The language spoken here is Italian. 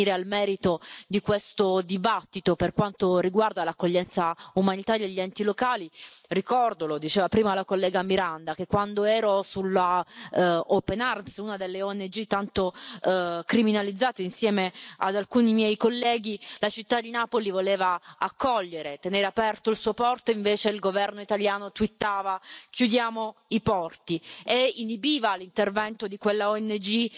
Per venire al merito di questo dibattito, per quanto riguarda l'accoglienza umanitaria agli enti locali, ricordo lo diceva prima la collega Miranda che quando ero sulla Open Arms una delle ONG tanto criminalizzate insieme ad alcuni miei colleghi, la città di Napoli voleva accogliere e tenere aperto il suo porto mentre invece il governo italiano twittava chiudiamo i porti e inibiva l'intervento di quella ONG